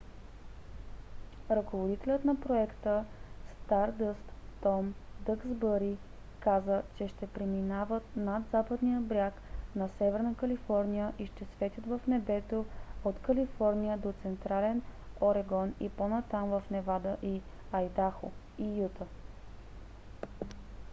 ръководителят на проекта стардъст том дъксбъри каза че ще преминават над западния бряг на северна калифорния и ще светят в небето от калифорния до централен орегон и по-натам в невада и айдахо и юта